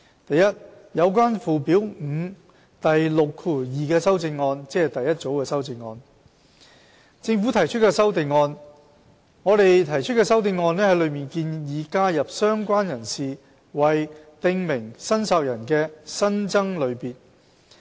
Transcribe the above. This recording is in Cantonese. a 有關附表5第62條的修正案在政府提出的修正案方面，我們提出的修正案建議加入"相關人士"為"訂明申索人"的新增類別。